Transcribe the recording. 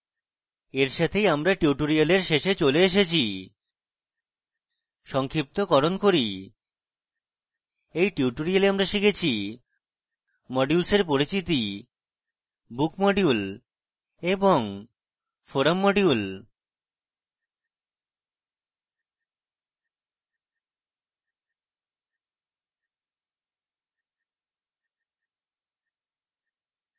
এই সাথেই আমরা tutorial শেষে চলে এসেছি সংক্ষিপ্তকরণ করি এই tutorial আমরা শিখেছি: modules পরিচিতি book module এবং forum module